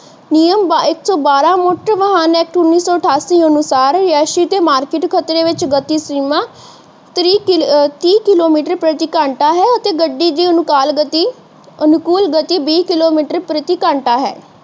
ਨਿਯਮ ਇਕ ਸੋ ਬਾਰਾਂ ਮੁਖ ਵਾਹਨ ਐਕਟ ਉਨੀ ਸੋ ਅਠਾਸੀ ਅਨੁਸਾਰ ਯੇਸ ਮਾਰਕੀਟ ਖ਼ਤਰੇ ਵਿਚ ਗਤੀ ਸੀਮਾ ਤੀ ਕਿਲੋਮੀਟਰ ਪ੍ਰਤੀ ਘੰਟਾਂ ਹੈ ਅਤੇ ਗੱਡੀ ਦੀ ਅਨੁਕੁਲ ਗਤੀ ਬੀ ਕਿਲੋਮੀਟਰ ਪ੍ਰਤੀ ਘੰਟਾ ਹੈ